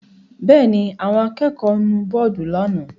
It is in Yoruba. Bẹ́ẹ̀ ni, àwọn akẹ́kọ̀ọ́ nu bọ́ọ́dù lánàá.